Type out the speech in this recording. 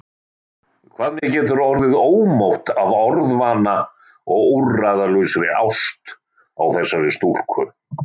Hvað mér getur orðið ómótt af orðvana og úrræðalausri ást á þessari stúlku!